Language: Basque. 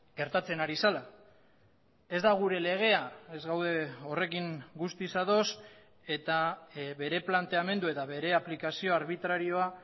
gertatzen ari zela ez da gure legea ez gaude horrekin guztiz ados eta bere planteamendu eta bere aplikazio arbitrarioa